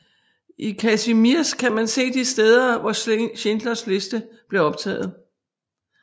I Kazimierz kan man se de steder hvor Schindlers liste blev optaget